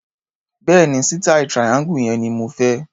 Bẹ́ẹ̀ni, sítàì triangle yẹn ni mo fẹ́.